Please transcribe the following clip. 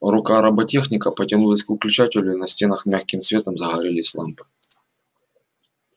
рука роботехника потянулась к выключателю и на стенах мягким светом загорелись лампы